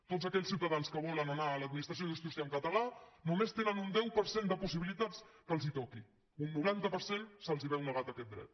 tots aquells ciutadans que volen anar a l’administració de justícia en català només tenen un deu per cent de possibilitats que els toqui a un noranta per cent se’ls veu negat aquest dret